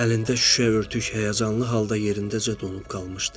Əlində şüşə örtük həyəcanlı halda yerindəcə donub qalmışdı.